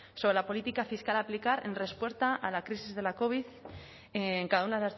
sobre la política fiscal a aplicar en respuesta a la crisis de la covid en cada una